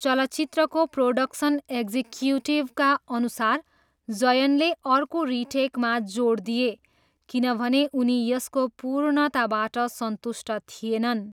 चलचित्रको प्रोडक्सन एक्जिक्युटिभका अनुसार, जयनले अर्को रिटेकमा जोड दिए किनभने उनी यसको पूर्णताबाट सन्तुष्ट थिएनन्।